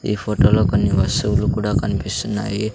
ఈ ఫోటోలో కొన్ని వస్సువులు కూడా కనిపిస్సున్నాయి.